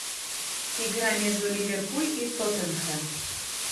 игра между ливерпуль и тоттенхэм